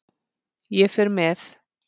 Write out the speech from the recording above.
Ég fer með